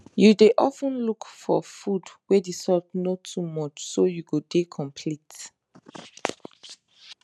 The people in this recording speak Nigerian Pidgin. you dey of ten look for food wey the salt no too much so you go dey complete